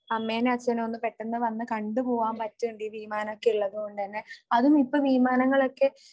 അമ്മേനോ അച്ഛനോ ഒന്ന് പെട്ടന്ന് വന്നു കണ്ടു പോകാൻ പറ്റുന്നുണ്ട് ഈ വിമാനം ഒക്കെ ഉള്ളതുകൊണ്ട് തന്നെ അതും ഇപ്പോ വിമാനങ്ങളൊക്കെ